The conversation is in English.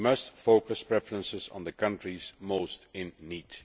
We must focus preferences on the countries most in need.